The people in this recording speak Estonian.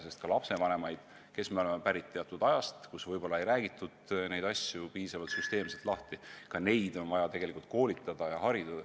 Meie lapsevanematena oleme ju pärit ajast, kus neid asju ei räägitud piisavalt süsteemselt lahti, ka meid on vaja koolitada ja harida.